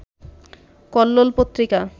Kallol Patrika